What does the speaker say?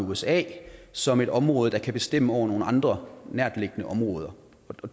usa som et område der kan bestemme over nogle andre nærtliggende områder